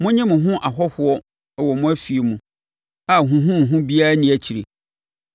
Monnye mo ho ahɔhoɔ wɔ mo afie mu a huhuhuhu biara nni akyire.